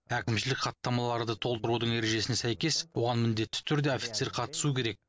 әкімшілік хаттамаларды толтырудың ережесіне сәйкес оған міндетті түрде офицер қатысуы керек